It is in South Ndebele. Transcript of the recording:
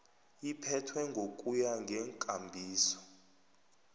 iphethwe ngokuya ngeenkambiso